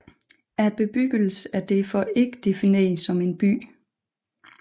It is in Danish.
Bebyggelsen er derfor ikke defineret som en by